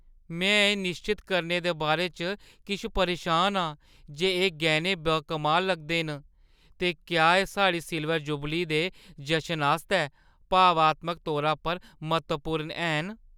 में एह् निश्चत करने दे बारे च किश परेशान आं जे एह् गैह्‌नें बाकमाल लगदे न ते क्या एह् साढ़ी सिल्वर जुबली दे जशनै आस्तै भावनात्मक तौरा पर म्हत्तवपूर्ण हैन।